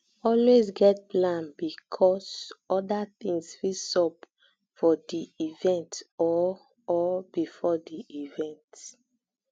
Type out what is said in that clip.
always get plan b because other things fit sup for di event or or before di event